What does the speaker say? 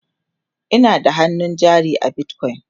Ina da hannun jari a bitcoin